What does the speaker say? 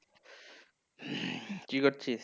কি করছিস?